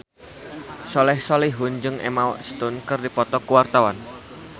Soleh Solihun jeung Emma Stone keur dipoto ku wartawan